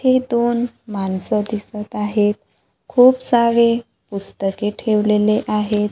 हे दोन माणसं दिसत आहेत खुप सारे पुस्तके ठेवलेले आहेत.